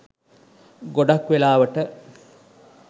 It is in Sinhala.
ගොඩක් වෙලාවට